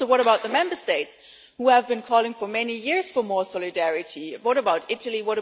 What about the Member States who have been calling for many years for more solidarity? What about Italy?